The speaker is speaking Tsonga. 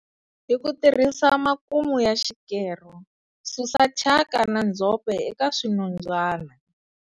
Hi ku tirhisa makumu ya xikero, susa thyaka na ndzhope eka swinondzwana.